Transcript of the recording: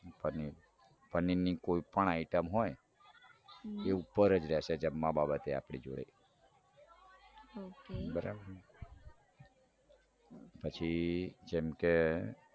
પનીર પનીર ની કોઈ પણ item હોય એ ઉપર જ રેસે જેમ પછી જેમ કે